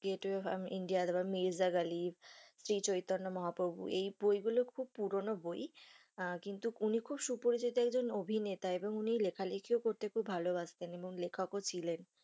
Gateway of India তারপর মির্জা গ্যালি শ্রী চৈতন্য মহাপ্রভু এই বই গুলো খুব পুরানো বই কিন্তু উনি খুব সুপরিচিত একজন অভিনেতা এবং উনি লেখা লেখি করতে খুব ভালো বাসতেন এবং লেখক ও ছিলেন।